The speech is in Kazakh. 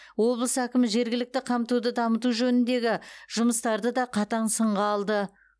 облыс әкімі жергілікті қамтуды дамыту жөніндегі жұмыстарды да қатаң сынға алды